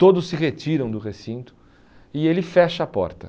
todos se retiram do recinto e ele fecha a porta.